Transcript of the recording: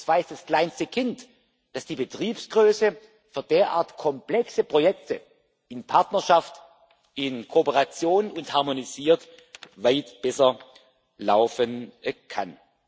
Das weiß das kleinste Kind, dass die Betriebsgröße für derart komplexe Projekte in Partnerschaft, in Kooperation und harmonisiert weit besser laufen kann.